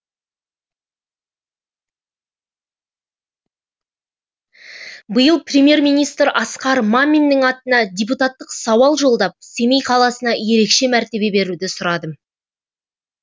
биыл премьер министр асқар маминнің атына депутаттық сауал жолдап семей қаласына ерекше мәртебе беруді сұрадым